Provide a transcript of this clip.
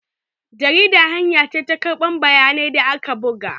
Jarida hanya ce ta karɓar bayanan da aka buga.